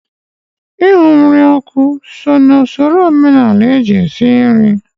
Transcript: Ịhụ nri n'ọkụ so na usoro omenala eji esi nri